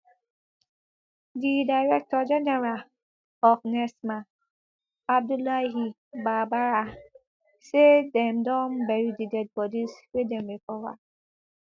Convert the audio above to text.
di director general of nsema abdullahi babaarah say dem don bury di dead bodies wey dem recover